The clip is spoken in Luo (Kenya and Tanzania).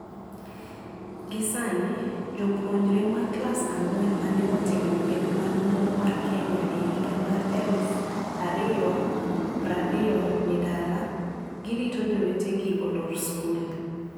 Gisani, jopuonjre ma klas ang'wen mane otimo penj maduong mar Kenya e higa mar eluf ario prario ni dala. Girito jowetegi olor skul.